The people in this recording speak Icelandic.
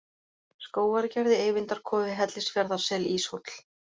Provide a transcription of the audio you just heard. Skógargerði, Eyvindarkofi, Hellisfjarðarsel, Íshóll